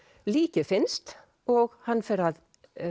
líkið finnst og hann fer að